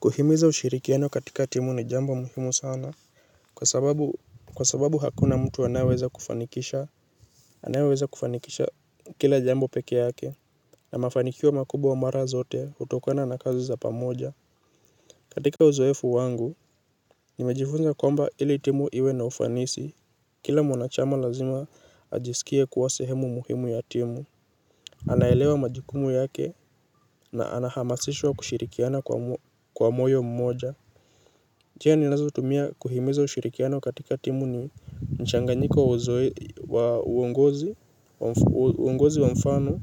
Kuhimiza ushirikiano katika timu ni jambo muhimu sana. Kwa sababu hakuna mtu anaweza kufanikisha anaweza kufanikisha kila jambo peke yake. Na mafanikio wa makubo wa mara zote utokana na kazi za pamoja. Katika uzoefu wangu, nimejifunza kwamba ili timu iwe na ufanisi kila mwanachama lazima ajisikie kuwa sehemu muhimu ya timu. Anaelewa majukumu yake na anahamasishwa kushirikiana kwa moyo mmoja. Njia ni nazotumia kuhimiza ushirikiano katika timu ni mchanganyiko wa uongozi wa mfano,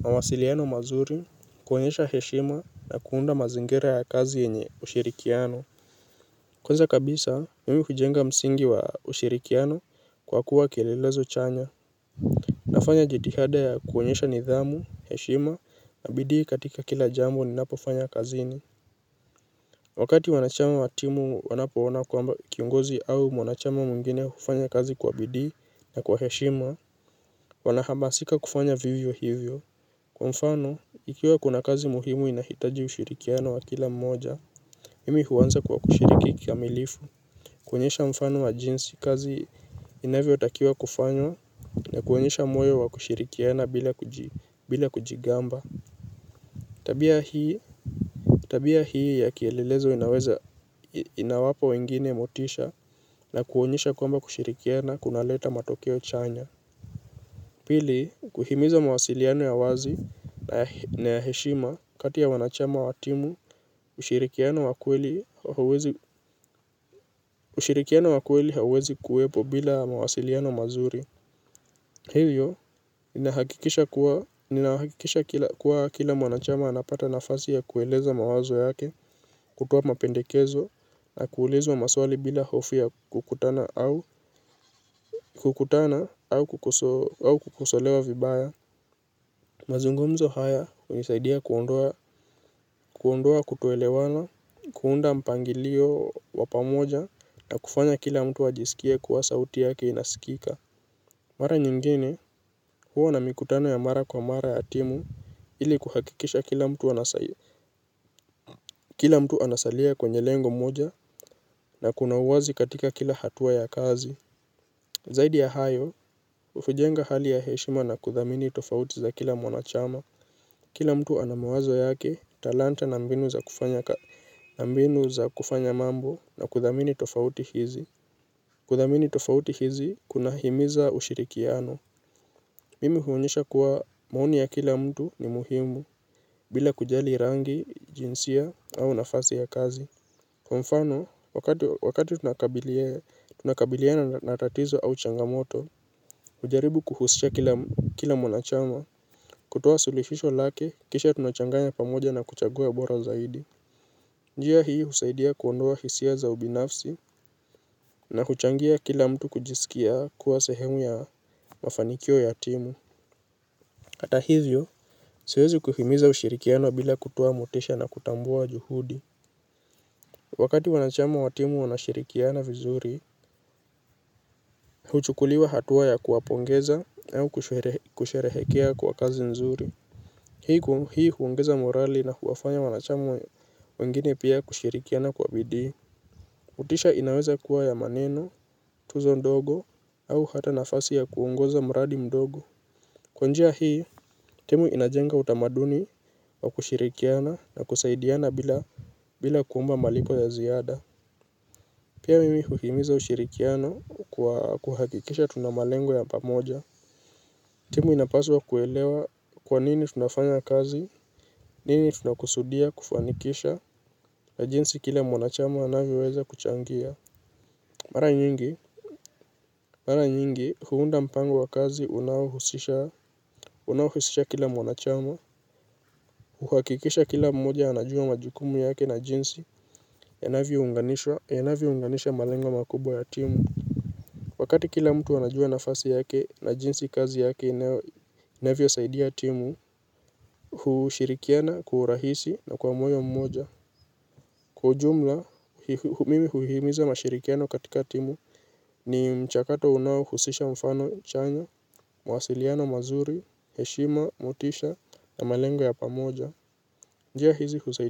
mawasiliano mazuri, kuonyesha heshima na kuunda mazingira ya kazi yenye ushirikiano. Kwanza kabisa, mimi hujenga msingi wa ushirikiano kwa kuwa kielelezo chanya. Nafanya jitihada ya kuonyesha nidhamu, heshima na bidii katika kila jambo ni napofanya kazini. Wakati wanachama wa timu wanapoona kwamba kiongozi au wanachama mwingine hufanya kazi kwa bidii na kwa heshima, wanahamasika kufanya vivyo hivyo. Kwa mfano, ikiwa kuna kazi muhimu inahitaji ushirikiano wa kila mmoja, mimi huwanza kwa kushiriki kikamilifu. Kuonyesha mfano wa jinsi kazi inavyo takiwa kufanywa na kunyesha moyo wa kushirikiana bila kujigamba. Tabia hii ya kielelezo inaweza inawapa wengine motisha na kuonyesha kwamba kushirikiana kunaleta matokeo chanya. Pili, kuhimiza mawasiliano ya wazi na ya heshima kati ya wanachama wa timu, ushirikiano wa kweli hauwezi kuwepo bila mawasiliano mazuri. Hivyo, ninahakikisha kuwa kila mwanachama anapata nafasi ya kueleza mawazo yake, kutoa mapendekezo, na kuulizwa maswali bila hofu ya kukutana au kukosolewa vibaya. Mazungomzo haya, unisaidia kuondoa, kuondoa kutoelewana, kuunda mpangilio wa pamoja, na kufanya kila mtu ajisikie kuwa sauti yake inasikika. Mara nyingine huwa na mikutano ya mara kwa mara ya timu ili kuhakikisha kila mtu anasalia kwenye lengo moja na kuna uwazi katika kila hatua ya kazi. Zaidi ya hayo hujenga hali ya heshima na kuthamini tofauti za kila mwanachama. Kila mtu anamawazo yake talanta na mbinu za kufanya mambo na kuthamini tofauti hizi. Kuthamini tofauti hizi kunahimiza ushirikiano. Mimi huonyesha kuwa maoni ya kila mtu ni muhimu. Bila kujali rangi, jinsia au nafasi ya kazi mfano, wakati tunakabiliana natatizo au changamoto ujaribu kuhusisha kila mwanachama. Kutoa sulihisho lake, kisha tunachanganya pamoja na kuchagua bora zaidi. Njia hii husaidia kuondoa hisia za ubinafsi na kuchangia kila mtu kujisikia kuwa sehemu ya mafanikio ya timu. Hata hivyo siwezi kuhimiza ushirikiano bila kutuoa motisha na kutambua juhudi. Wakati wanachama wa timu wanashirikiana vizuri huchukuliwa hatua ya kuwapongeza au kusherehekea kwa kazi nzuri. Hii huongeza morali na huwafanya wanachama wengine pia kushirikiana kwa bidii. Motisha inaweza kuwa ya maneno tuzo ndogo au hata nafasi ya kuongoza mradi ndogo. Kwa njia hii, timu inajenga utamaduni wa kushirikiana na kusaidiana bila kuomba malipo ya ziada. Pia mimi uhimiza ushirikiana kwa kuhakikisha tunamalengo ya pamoja. Timu inapaswa kuelewa kwa nini tunafanya kazi, nini tunakusudia kufanikisha la jinsi kila mwanachama anavyo weza kuchangia. Mara nyingi, mara nyingi huunda mpango wa kazi unaohusisha kila mwanachama. Uhakikisha kila mmoja anajua majukumu yake na jinsi yanavyo unganisha malengo makubwa ya timu. Wakati kila mtu anajua nafasi yake na jinsi kazi yake inavyo saidia timu hushirikiana kwa urahisi na kwa moyo mmoja. Kwa ujumla mimi uhimiza mashirikiano katika timu ni mchakato unao husisha mfano chanya, muhasiliano mazuri, heshima, motisha na malengo ya pamoja. Njia hizi husaidia.